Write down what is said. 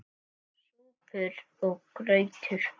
SÚPUR OG GRAUTAR